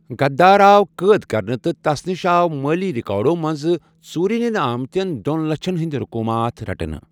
غدار آو قٲد كرنہٕ تہٕ تس نِش آو مٲلی رِیكاڈو منٛزٕ ژوٗرِ نِنہٕ آمتٮ۪ن دۄن لچھن ہٕندۍ رقوٗمات رٹنہٕ۔